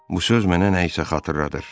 Bu söz mənə nə isə xatırladır.